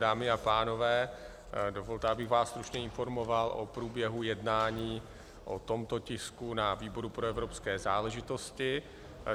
Dámy a pánové, dovolte, abych vás stručně informoval o průběhu jednání o tomto tisku na výboru pro evropské záležitosti.